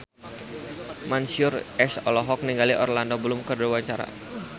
Mansyur S olohok ningali Orlando Bloom keur diwawancara